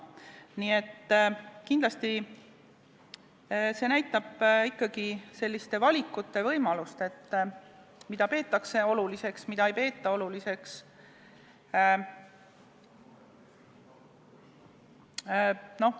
Nii et kindlasti näitab see ikkagi selliste valikute võimalust, mida peetakse ja mida ei peeta oluliseks.